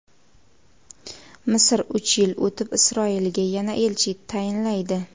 Misr uch yil o‘tib Isroilga yana elchi tayinlaydi.